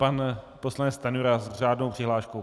Pan poslanec Stanjura s řádnou přihláškou.